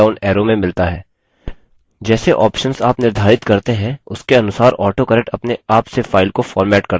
जैसे ऑप्शन्स आप निर्धारित करते हैं उसके अनुसार autocorrect अपने आप से फाइल को फॉर्मेट करता है